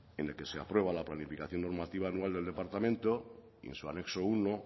en el que se aprueba la planificación normativa anual del departamento y en su anexo uno